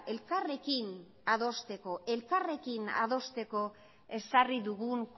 elkarrekin adosteko ezarri dugun